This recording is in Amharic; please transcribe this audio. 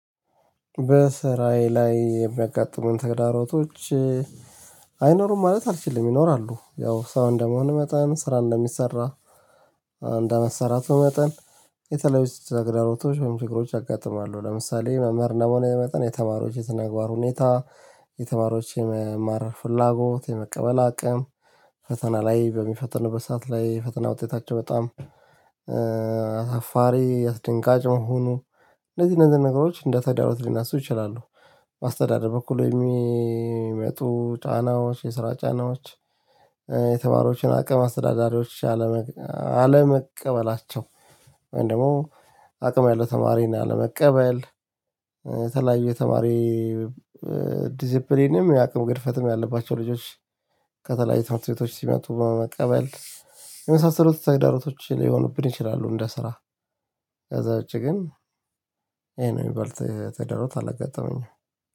በስራዬ ላይ የሚያጋጥሙኝ ተግዳሮቶች አይኖሩም ማለት አልችልም ይኖራሉ። ያው ሰው እንደመሆን መጠን ስራ እንደሚሰራ እንደመሰራቱ መጠን የተለያዩ ስትገራሮቶች ወይም ችግሮች አጋጥማለሁ። ለምሳሌ መመርና መሆን የመጣን የተማሪዎች የተነጋገር ሁኔታ የተማሪዎች የመማር ፍላጎት የመቀበል አቅም ፈተና ላይ በሚፈትን በሰአት ላይ ፈተና ውጤታቸው በጣም አሳፋሪ አስደንጋጭ መሆኑ እንደዚህ እነዚህ ነገሮች እንደ ተዳሮት ሊነሱ ይችላሉ። ማስተዳደር በኩል የሚመጡ ጫናዎች የስራ ጫናዎች። የተማሪዎች አቅም አስተዳዳሪዎች አለመቀበላቸው ወይም ደግሞ አቅም ያለው ተማሪና ለመቀበል ተለያዩ የተማሪ ዲዚፕሊንም የአቅም ፈትም ያለባቸው ልጆች ከተለያዩ ትምህርት ቤቶች ሲመጡ በመቀበል የመሳሰሉት ተግዳሮቶች ሊሆኑብን ይችላሉ። እንደ ስራ ከዛ ውጪ ግን ይሄ ነው የሚበልጥ ተደሮት አላጋጠመኝም